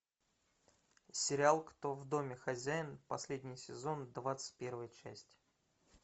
сериал кто в доме хозяин последний сезон двадцать первая часть